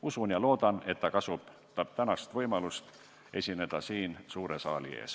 Usun ja loodan, et ta kasutab tänast võimalust esineda siin suure saali ees.